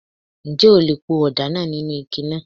Ǹjẹ́ o le po ọ̀dà náà nínú ike náà?